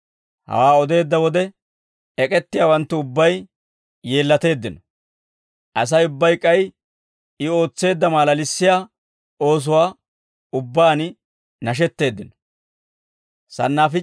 Hawaa odeedda wode ek'ettiyaawanttu ubbay yeellateeddino; Asay ubbay k'ay I ootseedda maalalissiyaa oosuwaan ubbaan nashetteeddino.